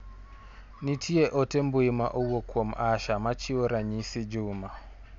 Nitier ote mbui ma owuok kuom Asha machiwo ranyisi Juma.